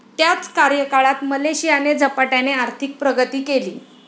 त्याच कार्यकाळात मलेशियाने झपाट्याने आर्थिक प्रगती केली.